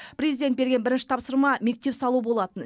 президент берген бірінші тапсырма мектеп салу болатын